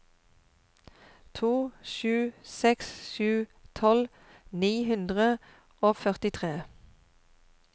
to sju seks sju tolv ni hundre og førtitre